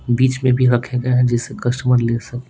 बीच में भी रखे गए जिसका स्वाद ले सके।